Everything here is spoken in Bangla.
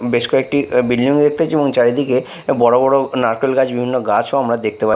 বেশ কয়েকটি এ বিল্ডিং -ও দেখতেছি এবং চারিদিকে বড় বড় নারকেল গাছ বিভিন্ন গাছও আমরা দেখতে পা--